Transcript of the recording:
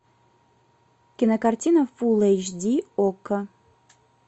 кинокартина фул эйч ди окко